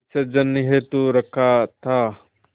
विसर्जन हेतु रखा था